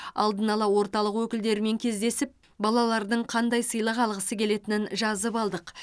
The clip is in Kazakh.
алдын ала орталық өкілдерімен кездесіп балалардың қандай сыйлық алғысы келетінін жазып алдық